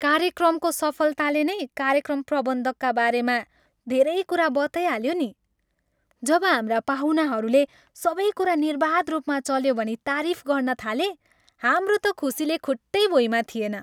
कार्यक्रमको सफलताले नै कार्यक्रम प्रबन्धकका बारेमा धेरै कुरा बताइहाल्यो नि। जब हाम्रा पाहुनाहरूले सबै कुरा निर्बाध रूपमा चल्यो भनी तारिफ गर्न थाले, हाम्रो त खुसीले खुट्टै भुइँमा थिएन।